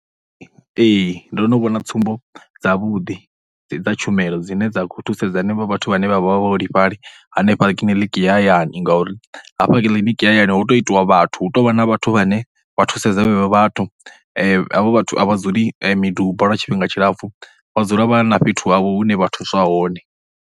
Ee, ndo no vhona tsumbo dzavhuḓi dza tshumelo dzine dza khou thusedza vhenevho vhathu vhane vha vha vhaholefhali hanefha kiḽiniki ya hayani. Ngauri hafha kiḽiniki ya hayani hu tou itiwa vhathu, hu tou vha na vhathu vhane vha thusedza vhenevho vhathu, havho vhathu a vha dzuli miduba lwa tshifhinga tshilapfhu vha dzula vha na fhethu havho hune vha thuswa hone.